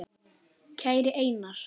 Kæri Einar.